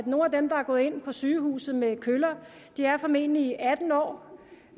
nogle af dem der er gået ind på sygehuset med køller er formentlig atten år